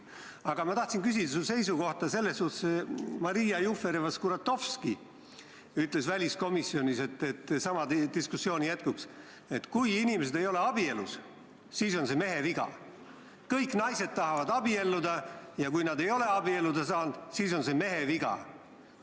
Aga ma tahtsin küsida sinu seisukohta selles suhtes, et Maria Jufereva-Skuratovski ütles väliskomisjonis sama diskussiooni jätkuks, et kui inimesed ei ole abielus, siis on see mehe viga, sest kõik naised tahavad abielluda ja kui nad ei ole abielluda saanud, siis on see mehe viga.